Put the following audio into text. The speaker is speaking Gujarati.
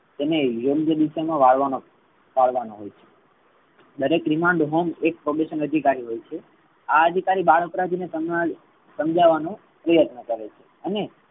તેને યોગ્ય દિશા મા વાળવા મા વાળવા માં આવે છે. દરેક remand home એક probation અધિકારી હોઈ છે. આ અધિકારી બાળ અપરાધી ને સમજાવ સમજાવવા નું પ્રયત્ન કરે છે. અને